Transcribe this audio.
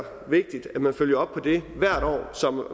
vigtigt at man følger op på det hvert år